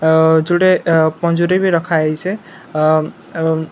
ଆ ଜୁଡେ ପଞ୍ଜୁରୀ ବି ରଖାହେଇଛେ ଆମ୍‌ ଆମ୍‌--